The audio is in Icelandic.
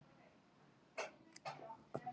víða er þó hægt að komast í opin jarðlög